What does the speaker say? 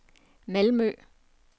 Malmø